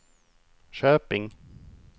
Köping